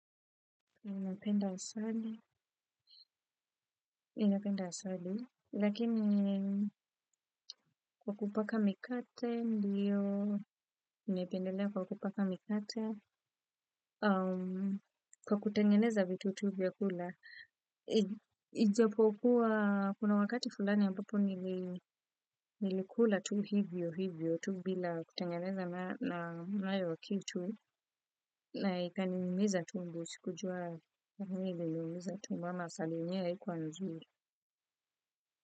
Ninapenda asali, ninapenda asali, lakini kwa kupaka mikate, ndiyo, nimependelea kwa kupaka mikate, kwa kutengeneza vitu tu vya kula, ijapokuwa, kuna wakati fulani ambapo nilikula tu hivyo hivyo, tu bila kutengeneza na nayo kitu, na ikaniumiza tumbo, sikujua kwa nini iliniumiza tumbo, ama asali yenyewe haikuwa nzuri.